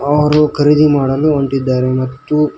ಅವರು ಖರೀದಿ ಮಾಡಲು ಹೊಂದಿದ್ದಾರೆ ಮತ್ತು--